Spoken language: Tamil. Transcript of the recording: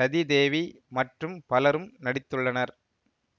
ரதிதேவி மற்றும் பலரும் நடித்துள்ளனர்